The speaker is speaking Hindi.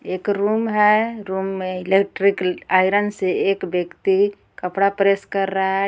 एक रूम है रूम में इलेक्ट्रिक आयरन से एक व्यक्ती कपड़ा प्रेस कर रहा है.